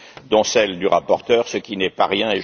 dont celle du rapporteur, ce qui n'est pas rien.